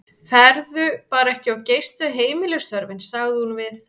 Farðu þér bara ekki of geyst við heimilisstörfin, sagði hún við